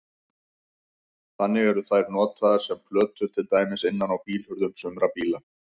Þannig eru þær notaðar sem plötur til dæmis innan á bílhurðum sumra bíla.